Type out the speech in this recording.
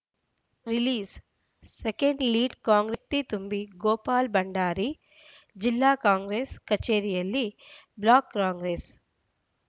ರಿಲೀಸ್‌ಸೆಕೆಂಡ್‌ಲೀಡ್‌ ಕಾಂಗ್ರೆಸ್‌ ಪಕ್ಷಕ್ಕೆ ಶಕ್ತಿ ತುಂಬಿ ಗೋಪಾಲ ಭಂಡಾರಿ ಜಿಲ್ಲಾ ಕಾಂಗ್ರೆಸ್‌ ಕಚೇರಿಯಲ್ಲಿ ಬ್ಲಾಕ್‌ ಕಾಂಗ್ರೆಸ್‌